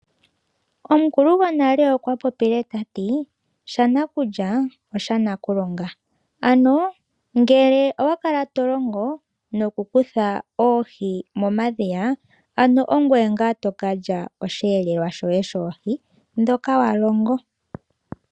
Omukulo gonale okwa popile ta ti: "Shanakulya osha nakulonga." Ano, ngele owa kala to longo nokukutha oohi momadhiya ano ongoye ngaa to ka lya osheelelwa shoye shoohi ndhoka wa longo.